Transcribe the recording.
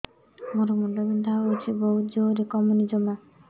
ମୋର ମୁଣ୍ଡ ବିନ୍ଧା ହଉଛି ବହୁତ ଜୋରରେ କମୁନି ଜମା